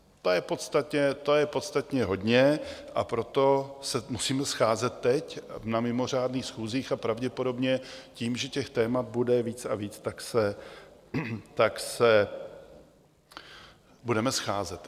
To je podstatně hodně, a proto se musíme scházet teď na mimořádných schůzích a pravděpodobně tím, že těch témat bude víc a víc, tak se budeme scházet.